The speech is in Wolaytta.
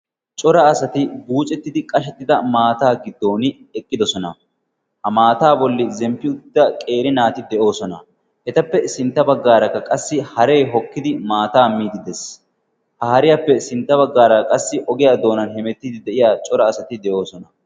cora asati buucettidi qashettida maataa giddon eqqidosona. ha maataa bolli zemppi utida qeeri naati de'oosona. etappe sintta baggaarakka qassi hareti hokkidi maataa miidi dees. haariyaappe sintta baggaaraa qassi ogiyaa doonan hemettidi de'iya cora asati de'oosona.